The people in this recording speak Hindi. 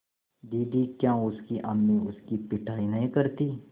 दीदी क्या उसकी अम्मी उसकी पिटाई नहीं करतीं